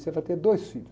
Você vai ter dois filhos.